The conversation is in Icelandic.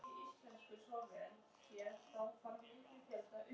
Magngeir, bókaðu hring í golf á föstudaginn.